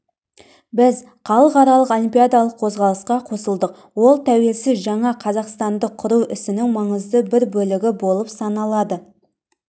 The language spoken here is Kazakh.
біз халықаралық олимпиадалық қозғалысқа қосылдық ол тәуелсіз жаңа қазақстанды құру ісінің маңызды бір бөлігі болып саналады